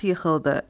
At yıxıldı.